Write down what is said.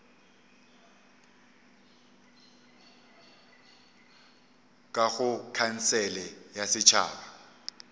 ka go khansele ya setšhaba